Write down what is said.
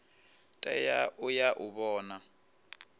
tea u ya u vhona